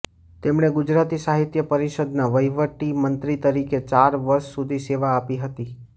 તેમણે ગુજરાતી સાહિત્ય પરિષદના વહીવટી મંત્રી તરીકે ચાર વર્ષ સુધી સેવા આપી હતી